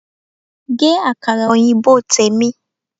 Gé Àkàrà òyìnbó tèmi!